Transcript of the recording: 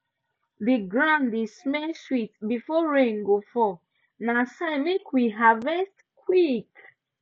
the ground dey smell sweet before rain go fall na sign make we harvest quick